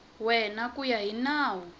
wena ku ya hi nawu